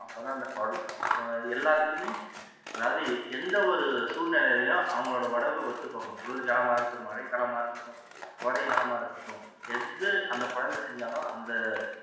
அப்போ தான் அது எல்லாத்துக்குமே அதாவது எந்த ஒரு சூழ்நிலையிலையும் அவங்களோட உடம்பு ஒத்து போகணும் குளிர் காலமாகட்டும், மழை காலமா இருக்கட்டும் கோடை காலமா இருக்கட்டும் எது அந்த குழந்தை செஞ்சாலும் அந்த